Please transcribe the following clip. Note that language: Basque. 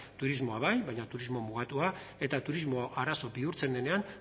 turismoa bai baina turismo mugatua eta turismoa arazo bihurtzen denean